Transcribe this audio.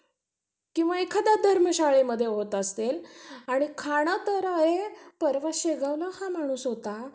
किंवा एखाद्या धर्मशाळेमध्ये होत असेल आणि खाणं तर हे आहे पर्वा शेगाव ला हा माणूस होता